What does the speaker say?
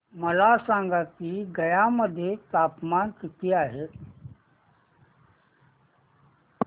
मला सांगा की गया मध्ये तापमान किती आहे